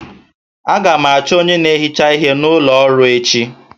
Aga m achọ onye na-ehicha ihe n'ụlọ ọrụ m echi